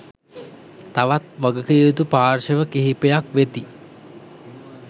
තවත් වගකිවයුතු පාර්ශ්ව කිහිපයක් වෙති